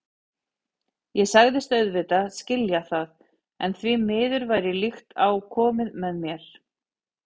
Ég sagðist auðvitað skilja það, en því miður væri líkt á komið með mér.